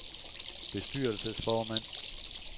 bestyrelsesformand